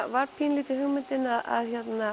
var pínulítið hugmyndin að